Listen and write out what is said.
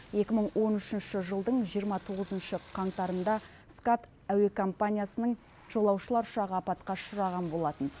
екі мың он үшінші жылдың жиырма тоғызыншы қаңтарында скат әуе компаниясының жолаушылар ұшағы апатқа ұшыраған болатын